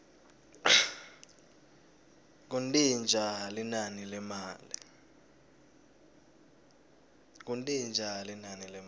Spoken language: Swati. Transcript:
kuntintja linani lemali